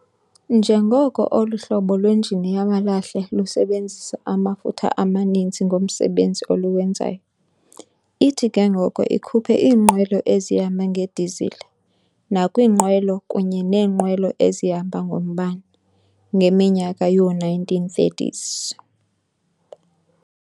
Njengoko olu hlobo lwenjini yamalahle lusebenzisa amafutha amaninzi ngomsebenzi oluwenzayo, ithi ke ngoko ikhuphe iinqwelo ezihamba nge-disile nakwiinqwelo kunye nee-nqwelo ezihamba ngombane, ngeminyaka yoo-1930s.